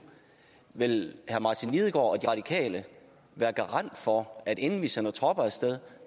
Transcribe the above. vil herre martin lidegaard og de radikale være garant for at inden vi sender tropper af sted